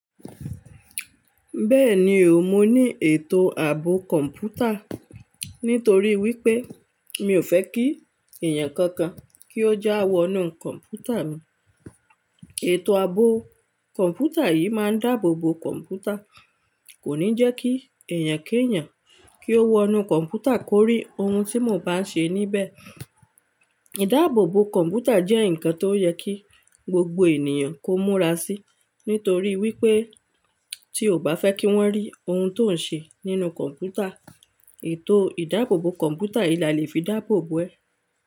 Bẹ́ẹ̀ni o, mo ní ètò ààbò kọ̀mpútà ni torí wípé mi ò fẹ́ kí èèyàn kankan kí ó já wọnú kọ̀mpútà mi. Ètò ààbò kọ̀mpútà yìí máa ń dáàbò bo kọ̀mpútà, kò ní jẹ́ kí èèyàn kí èèyàn kí ó wọnú kọ̀mpútà kórí ohun tí mo bá ń ṣe níbẹ̀. Ìdáàbò bo kọ̀mpútà jẹ́ ǹkan tó yẹ kí gbogbo ènìyàn kó múra sí ni torí wípé tí o ò bá fẹ́ kí wọ́n rí ohun tó ń ṣe nínú kọ̀mputà, ètò ìdáàbò bo kọ̀mpútà yìí là lè fi dáàbò bo ẹ́.